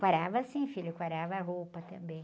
Quarava, sim, filho, quarava a roupa também.